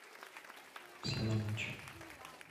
все на матч